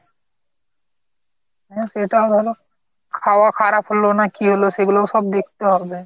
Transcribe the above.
হ্যাঁ সেটাও ভালো, খাওয়া খারাপ হল নাকি হল সেগুলো সব দেখতে হবে।